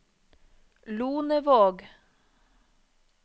Lonevåg